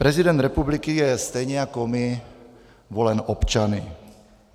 Prezident republiky je stejně jako my volen občany.